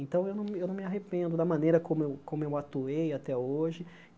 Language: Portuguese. Então, eu não me eu não me arrependo da maneira como eu como eu atuei até hoje.